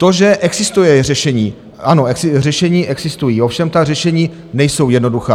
To, že existuje řešení - ano, řešení existují, ovšem ta řešení nejsou jednoduchá.